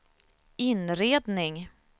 inredning